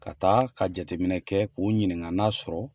Ka taa ka jateminɛ kɛ k'u ɲininka n'a sɔrɔ